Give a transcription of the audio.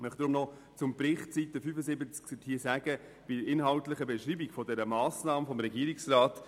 Ich möchte noch zur inhaltlichen Beschreibung der Massnahme im Bericht auf Seite 75 etwas sagen.